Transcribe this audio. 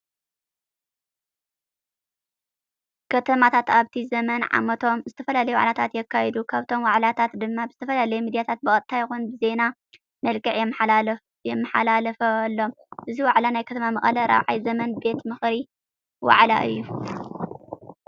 ከተማታት ኣብቲ ዘመነ ዓመቶም ዝተፈላለዩ ዋዕላታት የካይዱ። ካብቶም ዋዕላታት ድማ ብዝተፈላለዩ ሚዳታት ብቀጥታ ይኹን ብዜና መልክዕ ይመሓላለፈሎም። እዚ ዋዕላ ናይ ከተማ መቐለ 4ይ ዘመን ቤት ምክሪ ዋዕላ እዩ።